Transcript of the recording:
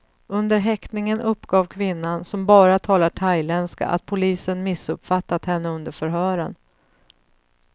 Under häktningen uppgav kvinnan, som bara talar thailändska, att polisen missuppfattat henne under förhören.